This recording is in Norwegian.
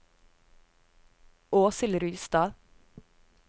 Åshild Rustad